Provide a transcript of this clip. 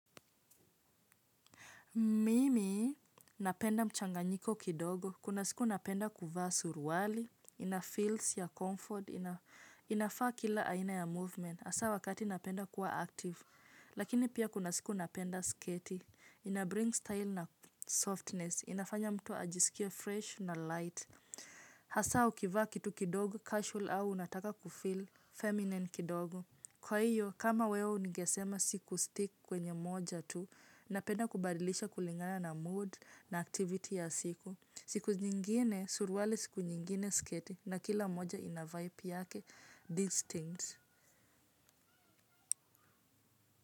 Mimi napenda mchanganyiko kidogo. Kuna siku napenda kuvaa suruwali. Ina feels ya comfort. Inafaa kila aina ya movement. Hasa wakati napenda kuwa active. Lakini pia kuna siku napenda sketi. Ina bring style na softness. Inafanya mtu ajisikie fresh na light. Hasa ukivaa kitu kidogo, casual au unataka kufeel feminine kidogo. Kwa hiyo, kama wewe unigesema siku stick kwenye moja tu napenda kubadilisha kulingana na mood na activity ya siku. Siku nyingine, surwale siku nyingine sketi. Na kila moja ina vibe yake, distinct.